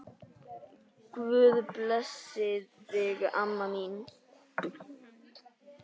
Guð blessi þig, amma mín.